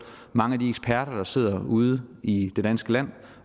mange af de eksperter der sidder ude i det danske land